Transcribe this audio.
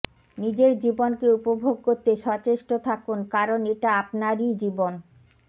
নিজের জীবনকে উপভোগ করতে সচেষ্ট থাকুন কারণ এটা আপনারই জীবন